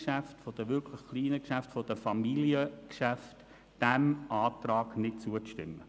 Ich bitte Sie im Namen der Familiengeschäfte, dem Antrag nicht zuzustimmen.